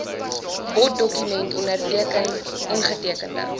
boddokument onderteken ongetekende